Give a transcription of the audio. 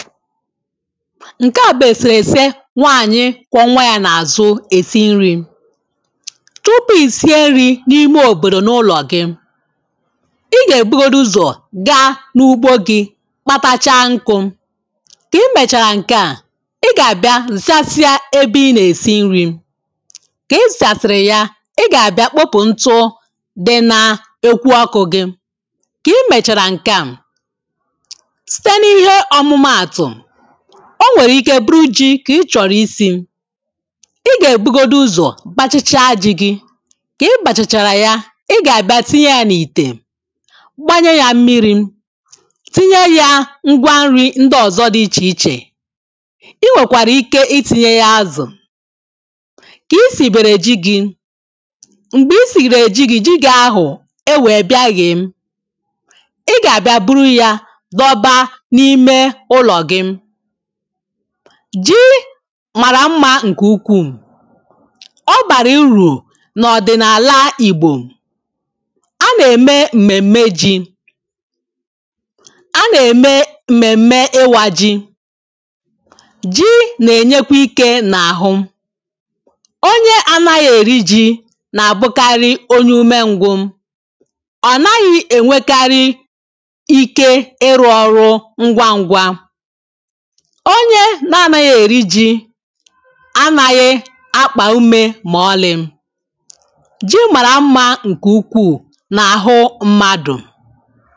ǹke à bụ̀ èsìrèsi nwanyị kwa nwa yȧ n’àzụ̀ èsi nri̇ tupu ìsie nri̇ n’ime òbòdò n’ụlọ̀ gị̇ ị gà-èbugodi ụzọ̀ ga n’ugbo gị̇ kpatacha nkụ̇ kà i mèchàrà ǹke à ị gà-àbịa zachasiị ebe i nà-èsi nri̇ kà i zachasiị yà ị gà-àbịa kpọpụ̀ ntụ dị n’ekwu akụ̇ gị kà i mèchàrà ǹke à o nwere ike buru ji ka ị chọrọ isi ị ga-ebugodu ụzọ bachicha ji gi ka ị bachachara ya ị ga-abịa tinye ya n’ite gbanyee ya mmiri tinye ya ngwa nri ndị ọzọ dị iche iche i nwekwara ike i tinye ya azụ ka i siri bere ji gị m̀gbè i siri gere ji gị jiga ahụ̀ e wee bịa yè ji màrà mmȧ ǹkè ukwuù ọ bàrà irù nà ọ̀dị̀nàla ìgbò a nà-ème m̀mèm̀me ji a nà-ème m̀mèm̀me ịwȧ ji̇ ji̇ nà-ènyekwa ikė n’àhụ onye anȧghị̇ èri ji̇ nà-àbụkarị onye umė ǹgwuù ọ̀ naghị̇ ènwekarị ike ịrụ̇ ọrụ onye na-anaghị eri ji anaghị akpa ume ma ọlị. ji maara mma nke ukwuu n'ahụ mmadụ.